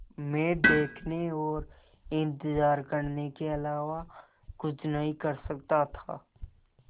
मैं देखने और इन्तज़ार करने के अलावा कुछ नहीं कर सकता था